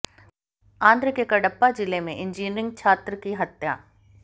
आंध्र के कडपा जिले में इंजीनियरिंग छात्र की हत्या